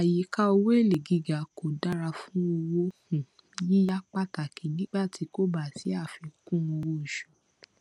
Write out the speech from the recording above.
àyíka owó èlé gíga kò dára fún owó um yíyá pàtàkì nígbà tí kò bá sí àfikún owó oṣù